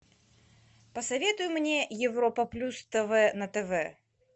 посоветуй мне европа плюс тв на тв